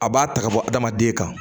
A b'a ta ka bɔ adamaden kan